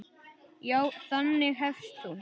Já, þannig hefst hún.